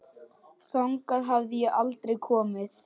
Þangað hafði ég aldrei komið.